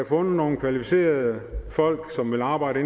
fundet nogle kvalificerede folk som vil arbejde